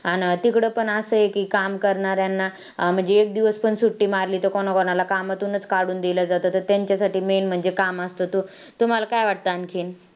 अन तिकडं पण असं एक काम करणाऱ्यांना म्हणजे एक दिवस पण सुट्टी मारली तर कोणाकोणाला कामातूनच काढून दिलं जातं, तर त्यांच्यासाठी main म्हणजे काम असतं. तुम्हाला काय वाटतं आणखीन?